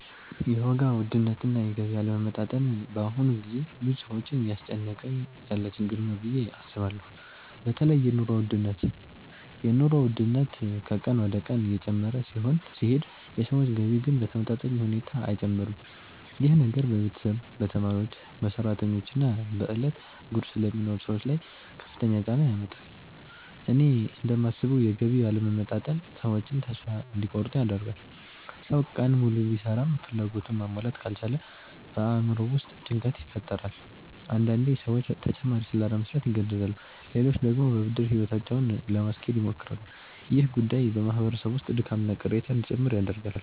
የዋጋ ውድነትና የገቢ አለመመጣጠን በአሁኑ ጊዜ ብዙ ሰዎችን እያስጨነቀ ያለ ችግር ነው ብዬ አስባለሁ። በተለይ የኑሮ ውድነት ከቀን ወደ ቀን እየጨመረ ሲሄድ የሰዎች ገቢ ግን በተመጣጣኝ ሁኔታ አይጨምርም። ይህ ነገር በቤተሰብ፣ በተማሪዎች፣ በሰራተኞች እና በዕለት ጉርስ ለሚኖሩ ሰዎች ላይ ከፍተኛ ጫና ያመጣል። እኔ እንደማስበው የገቢ አለመመጣጠን ሰዎችን ተስፋ እንዲቆርጡ ያደርጋል። ሰው ቀን ሙሉ ቢሰራም ፍላጎቱን ማሟላት ካልቻለ በአእምሮው ውስጥ ጭንቀት ይፈጠራል። አንዳንዴ ሰዎች ተጨማሪ ሥራ ለመሥራት ይገደዳሉ፣ ሌሎች ደግሞ በብድር ሕይወታቸውን ለማስኬድ ይሞክራሉ። ይህ ጉዳይ በማህበረሰብ ውስጥ ድካምና ቅሬታ እንዲጨምር ያደርጋል።